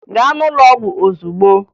Gaa n'ụlọ ọgwụ ozugbo!